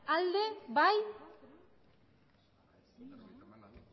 alde aldeko botoak aurkako botoak emandako